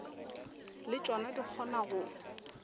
le tšona di kgona go